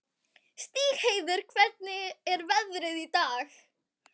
Stígheiður, hvernig er veðrið í dag?